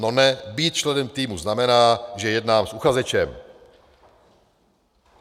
No ne, být členem týmu znamená, že jednám s uchazečem.